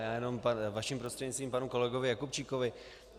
Já jenom vašim prostřednictvím panu kolegovi Jakubčíkovi.